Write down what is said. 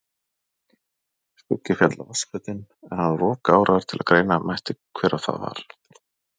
Skuggi féll á vatnsflötinn en hann var of gáraður til greina mætti hver það var.